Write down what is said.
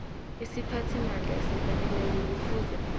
isiphathimandla esifaneleko kufuze